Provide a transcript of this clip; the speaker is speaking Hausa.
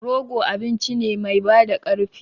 Rogo abinci ne mai bada ƙarfi.